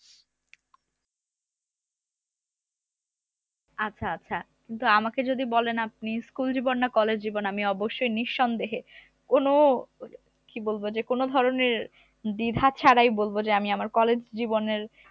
আচ্ছা আচ্ছা, কিন্তু আমাকে যদি বলেন আপনি school জীবন না college জীবন আমি অবশ্যই নিঃসন্দেহে কোন কি বলবো যে কোন ধরনের দ্বিধা ছাড়াই বলবো যে আমি আমার college জীবনের